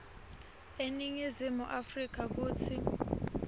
eningizimu afrika kutsi